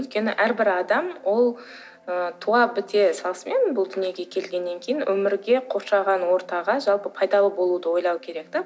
өйткені әрбір адам ол ы туа біте салысымен бұл дүниеге келгеннен кейін өмірге қоршаған ортаға жалпы пайдалы болуды ойлауы керек те